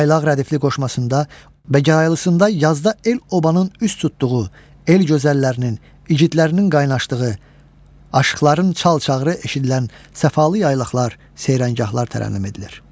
Yaylaq rədifli qoşmasında və gəraylısında yazda el-obanın üz tutduğu, el gözəllərinin, igidlərinin qaynaşdığı, Aşıqların çal-çağırı eşidilən səfalı yaylaqlar, seyrəngahlar tərənnüm edilir.